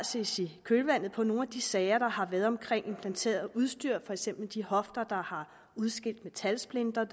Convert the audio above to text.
ses i kølvandet på nogle af de sager der har været om implanteret udstyr for eksempel de hofter der har udskilt metalsplinter